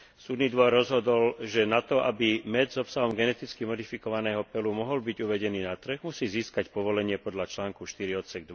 Súdny dvor rozhodol, že na to, aby med s obsahom geneticky modifikovaného peľu mohol byť uvedený na trh, musí získať povolenie podľa článku 4 ods.